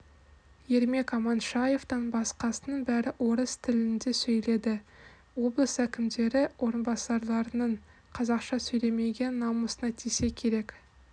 ермек аманшаевтан басқасының бәрі орыс тілінде сөйледі облыс әкімдері орынбасарларының қазақша сөйлемегені намысына тисе керек